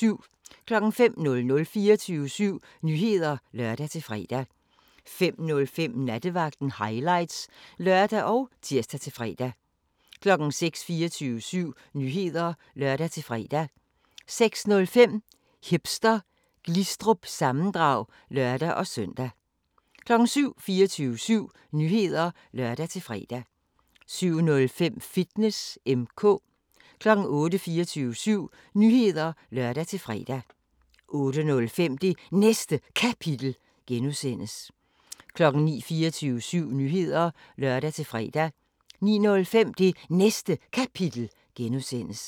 05:00: 24syv Nyheder (lør-fre) 05:05: Nattevagten Highlights (lør og tir-fre) 06:00: 24syv Nyheder (lør-fre) 06:05: Hipster Glistrup – sammendrag (lør-søn) 07:00: 24syv Nyheder (lør-fre) 07:05: Fitness M/K 08:00: 24syv Nyheder (lør-fre) 08:05: Det Næste Kapitel (G) 09:00: 24syv Nyheder (lør-fre) 09:05: Det Næste Kapitel (G)